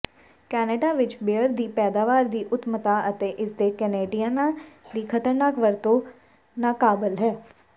Canada ਵਿੱਚ beer ਦੀ ਪੈਦਾਵਾਰ ਦੀ ਉੱਤਮਤਾ ਅਤੇ ਇਸਦੇ ਕੈਨੇਡੀਅਨਾਂ ਦੀ ਖਤਰਨਾਕ ਵਰਤੋਂ ਨਾਕਾਬਲ ਹੈ